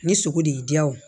Ni sogo de y'i diya o